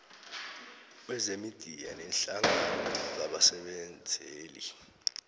kwemidiya nehlangano yabasebenzeli